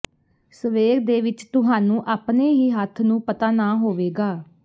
ਸਵੇਰ ਦੇ ਵਿੱਚ ਤੁਹਾਨੂੰ ਆਪਣੇ ਹੀ ਹੱਥ ਨੂੰ ਪਤਾ ਨਾ ਹੋਵੇਗਾ